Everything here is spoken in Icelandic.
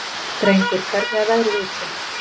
Drengur, hvernig er veðrið úti?